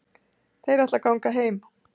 Þær ætla að ganga heim.